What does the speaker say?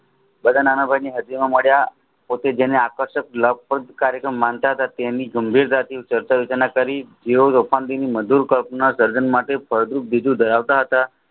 બાધા નાનાભાઈને હાજરીમાં મળ્યા પછી જેને આકર્ષિત માનતા તેની જેવી રીતે કરી ધરાવતા હતા